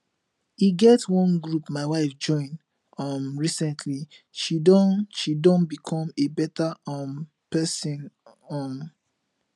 e get wan group my wife join um recently she Accepted she Accepted become a better um person um